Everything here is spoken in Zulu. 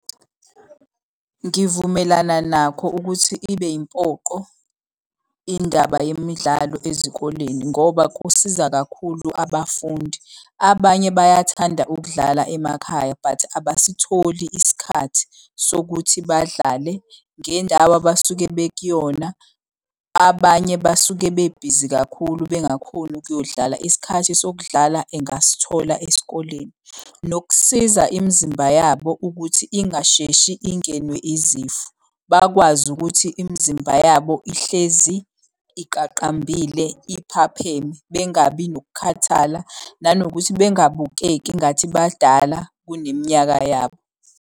Ngivumelana nakho ukuthi ibe yimpoqo indaba yemidlalo ezikoleni ngoba kusiza kakhulu abafundi. Abanye bayathanda ukudlala emakhaya but abasitholi isikhathi sokuthi badlale ngendawo abasuke bekuyona. Abanye basuke bebhizi kakhulu bengakhoni ukuyodlala isikhathi sokudlala engasithola esikoleni. Nokusiza imizimba yabo ukuthi ingasheshi ingenwe izifo. Bakwazi ukuthi imizimba yabo ihlezi iqaqambile iphapheme. Bengabi nokukhathala nanokuthi bengabukeki engathi badala kuneminyaka yabo.